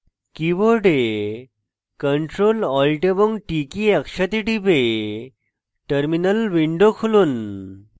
keyboard ctrl alt এবং t একসাথে টিপে terminal window খুলুন